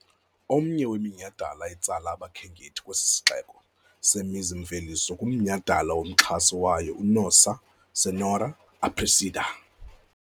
Omnye weminyhadala etsala abakhenkethi kwesi sixeko semizi-mveliso ngumnyhadala womxhasi wayo, uNossa Senhora Aparecida.